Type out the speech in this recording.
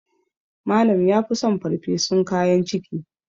Malam ya fi son farfesun kayan ciki